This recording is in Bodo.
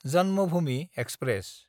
जन्मभूमि एक्सप्रेस